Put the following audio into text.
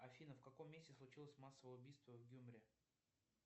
афина в каком месте случилось массовое убийство в гюмри